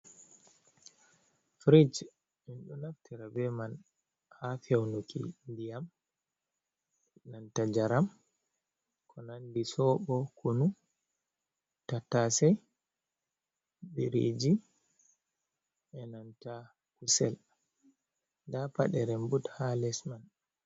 Firish en ɗo naftira be man ha feunuki ndiyam nanta njaram ko nandi soɓo kunu tattasei biriji e nanta kusel da paɗe remɓut ha les man.